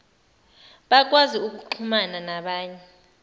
bakwazi ukuxhumana nabanye